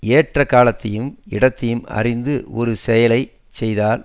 ஏற்ற காலத்தையும் இடத்தையும் அறிந்து ஒரு செயலை செய்தால்